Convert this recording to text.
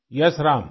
yes Ram